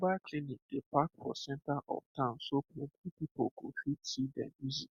mobile clinic dey park for center of town so plenty people go fit see dem easy